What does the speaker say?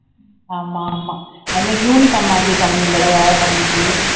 ஆமா ஆமா அது மாதிரி uniform மாத்திருக்காங்க இந்த தடவை தம்பிக்கு